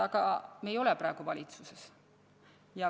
Aga me ei ole praegu valitsuses.